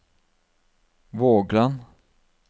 Vågland